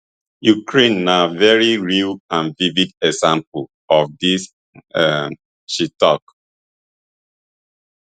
ukraine na very real and vivid example of dis um she tok